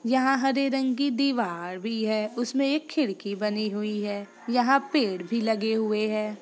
यहां हरे रंग की दीवार भी है। उसमे एक खिड़की बनी हुई है यहां पर पेड़ भी लगे हुए है।